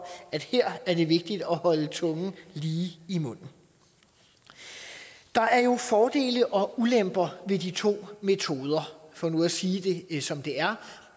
at her er det vigtigt at holde tungen lige i munden der er jo fordele og ulemper ved de to metoder for nu at sige det som det er